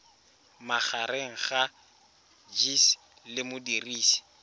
magareng ga gcis le modirisi